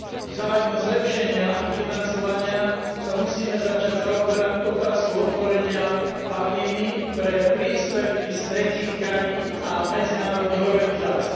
V záujme zlepšenia ich financovania sa musíme začať zaoberať otázkou otvorenia Atheny pre príspevky z tretích krajín a medzinárodných organizácií.